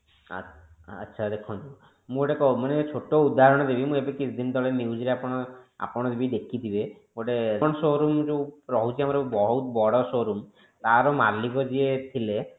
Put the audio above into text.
ଆଚ୍ଛା ଦେଖନ୍ତୁ ମୁଁ ଗୋଟେ ମାନେ ଛୋଟ ଉଦାହରଣ ଦେବି ମୁଁ କିଛି ଦିନ ତଳେ news ରେ ଆପଣ ଆପଣ ଯଦି ଦେଖିଥିବେ ଗୋଟେ କଣ showroom ଯୋଉ ରହୁଛି ଆମର ବହୁତ ବଡ showroom ତାର ମାଲିକ ଯିଏ ଥିଲେ